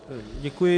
Děkuji.